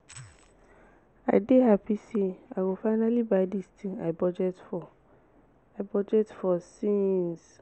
i dey happy say i go finally buy dis thing i budget for i budget for since